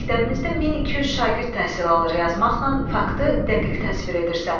məktəbimizdə 1200 şagird təhsil alır yazmaqla faktı dəqiq təsvir edirsən.